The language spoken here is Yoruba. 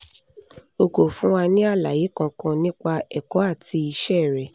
o kò fún wa ní àlàyé kankan nípa ẹ̀kọ́ àti iṣẹ́ rẹ